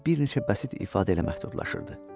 kimi bir neçə bəsit ifadə ilə məhdudlaşırdı.